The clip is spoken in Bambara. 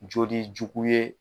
Joli jugu ye